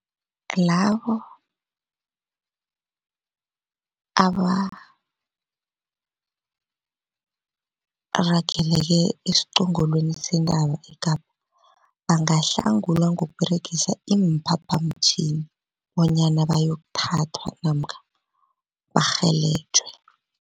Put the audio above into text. Labo aba rageleke esiqongolweni sentaba eKapa bangahlangulwa ngokuberegisa iimphaphamtjhini bonyana bayokuthathwa namkha barhelejwe.